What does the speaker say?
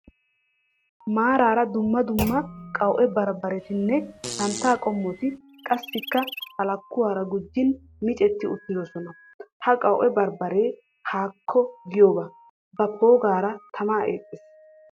Maarara dumma dumma qawu'e bambbaretinne santta qommoti qassikka halakkuwara gujiin miccetti uttidosona. Ha qawu'e bambbaree haakko giyobaa ba poogaara tamaa eexxees.